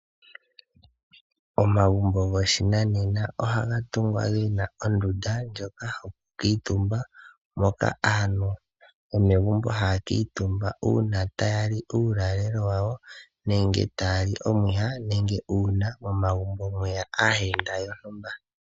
Momagumbo goshinane ohaga tungwa gena ondunda ndjoka yoku kutumba uuna aantu tali uuyalelo nenge omwiha noshowo aayenda.